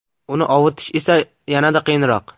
Uni ovutish esa yanada qiyinroq.